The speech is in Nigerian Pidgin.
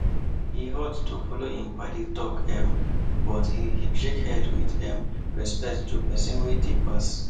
he halt to follow him paddy talk um but he shake head with um respect to pesin wey dey pass